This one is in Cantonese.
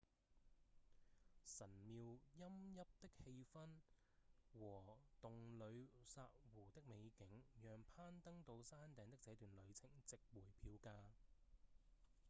神廟陰鬱的氣氛和洞里薩湖的美景讓攀登到山頂的這段路程值回票價